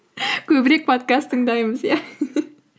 көбірек подкаст тыңдаймыз иә